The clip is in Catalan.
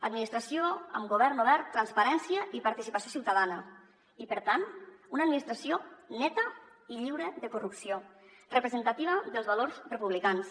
administració amb govern obert transparència i participació ciutadana i per tant una administració neta i lliure de corrupció representativa dels valors republicans